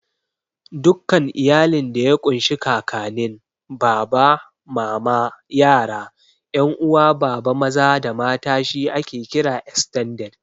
Dukkan iyalin da ya ƙun shi Kakanin, Baba, Mama, yara, 'yan uwa Baba maza da mata she ake kira "Estended".